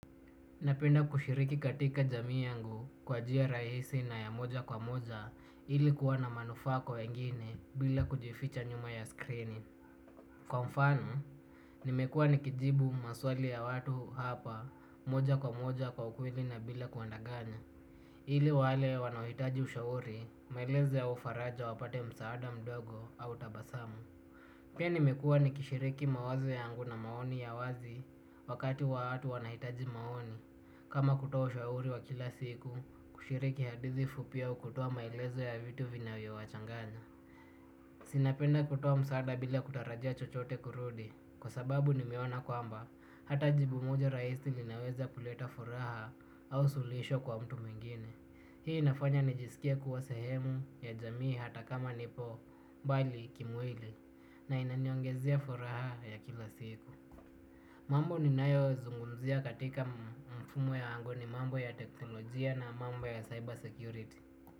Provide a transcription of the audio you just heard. Napenda kushiriki katika jamii yangu kwa njia rahisi na ya moja kwa moja ili kuwa na manufaa kwa wengine bila kujificha nyuma ya skrini. Kwa mfano nimekuwa nikijibu maswali ya watu hapa moja kwa moja kwa ukweli na bila kuwadanganya. Ili wale wanaohitaji ushauri maelezo au faraja wapate msaada mdogo au tabasamu. Pia nimekua nikishiriki mawazo yangu na maoni ya wazi wakati wa watu wanahitaji maoni. Kama kutoa ushauri wa kila siku kushiriki hadithi fupi au kutoa maelezo ya vitu vinavyo wachanganya. Si napenda kutoa msaada bila kutarajia chochote kurudi. Kwa sababu nimeona kwamba hata jibu moja rahisi linaweza kuleta furaha au suluhisho kwa mtu mwingine. Hii nafanya nijisikie kuwa sehemu ya jamii hata kama nipo mbali kimwili. Na inaniongezea furaha ya kila siku. Mambo ninayo zungumzia katika mfumo yangu ni mambo ya teknolojia na mambo ya cyber security.